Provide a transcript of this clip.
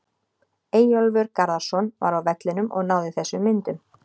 Eyjólfur Garðarsson var á vellinum og náði þessum myndum.